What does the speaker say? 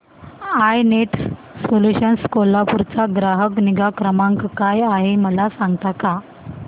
I net solutions Kolhapur चा ग्राहक निगा क्रमांक काय आहे मला सांगता का